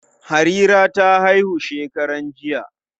Harira ta haihu shekaran jiya.